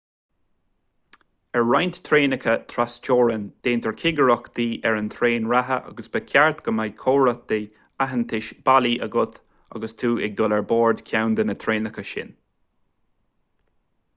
ar roinnt traenacha trasteorann déantar cigireachtaí ar an traein reatha agus ba cheart go mbeadh comhartha aitheantais bailí agat agus tú ag dul ar bord ceann de na traenacha sin